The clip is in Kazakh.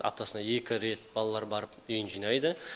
аптасына екі рет балалар барып үйін жинайды